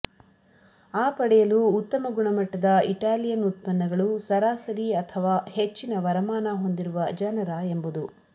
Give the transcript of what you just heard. ಆ ಪಡೆಯಲು ಉತ್ತಮ ಗುಣಮಟ್ಟದ ಇಟಾಲಿಯನ್ ಉತ್ಪನ್ನಗಳು ಸರಾಸರಿ ಅಥವಾ ಹೆಚ್ಚಿನ ವರಮಾನ ಹೊಂದಿರುವ ಜನರ ಎಂಬುದು